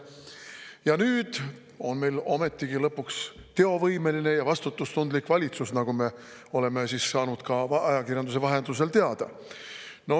Ja nüüd on meil ometigi lõpuks teovõimeline ja vastutustundlik valitsus, nagu me oleme saanud ajakirjanduse vahendusel teada.